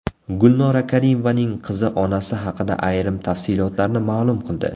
Gulnora Karimovaning qizi onasi haqida ayrim tafsilotlarni ma’lum qildi.